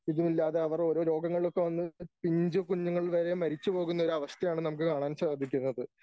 ഇതുമില്ലാതെ അവർ ഓരോ രോഗങ്ങൾ ഒക്കെ വന്ന് പിഞ്ചു കുഞ്ഞുങ്ങൾ വരെ മരിച്ചു പോകുന്ന ഒരു അവസ്ഥയാണ് നമുക്ക് കാണാൻ സാധിക്കുന്നത്.